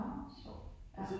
Nå hvor sjovt. Ja